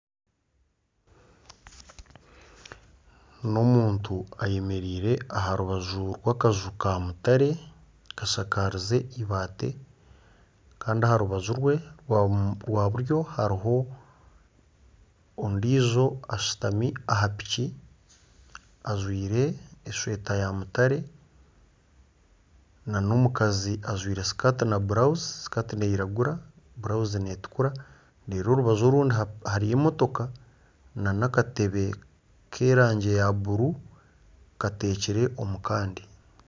Omuntu ayemereire aharubaju rwakaju ka mutare kashakarize eibaati Kandi aharubaju rwe rwa buryo hariho ondiijo ashutami aha piki ajwaire esweeta ya mutare nana omukazi ajwaire sikati na brouse ,skati neyiragura burawuzi netukura orubaju orundi hariyo emotoka nana akatebe kerangi ya bururu kateekire omukandi